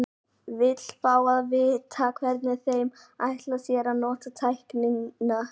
Vill fá að vita, hvernig þeir ætla sér að nota tæknina.